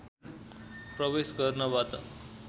प्रवेश गर्नबाट